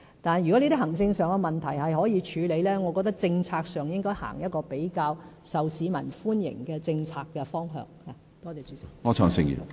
但是，如果這些行政上的問題可以處理，我覺得在政策上，便應該採取一個比較受市民歡迎的政策方向。